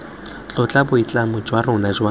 tlotla boitlamo jwa rona jwa